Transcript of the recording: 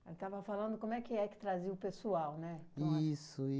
Aí estava falando como é que é que trazia o pessoal, né? Isso,